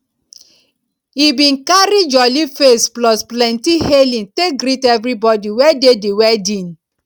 he bin carry jolly face plus plenti hailing take greet everbodi wey dey di wedding